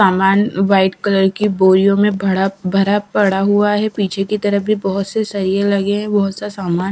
सामान white colour की बोरियों में भड़ा भरा पड़ा हुआ है पीछे की तरफ भी बहोत से सलिए लगे हैं बहुत सा सामान--